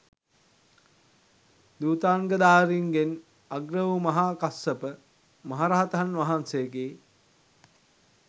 ධුතාංගධාරීන්ගෙන් අග්‍ර වූ මහා කස්සප මහරහතන් වහන්සේගේ